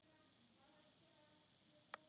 Þetta var amma hans Jóa.